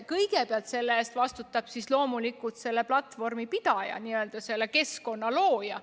Kõigepealt vastutab selle eest loomulikult selle platvormi, kus viha õhutada saab, pidaja, selle keskkonna looja.